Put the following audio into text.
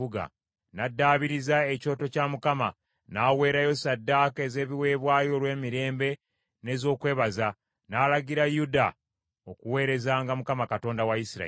N’addaabiriza ekyoto kya Mukama , n’aweerayo ssaddaaka ez’ebiweebwayo olw’emirembe n’ez’okwebaza, n’alagira Yuda okuweerezanga Mukama Katonda wa Isirayiri.